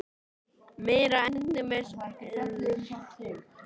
Meiri endemis erkibjálfinn sem hann var búinn að vera!